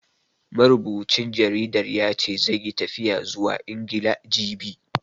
Marubucin jaridar ya ce, zai yi tafiya zuwa Ingila, jibi.